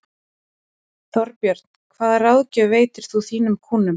Þorbjörn: Hvaða ráðgjöf veitir þú þínum kúnnum?